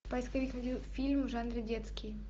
поисковик найди фильм в жанре детский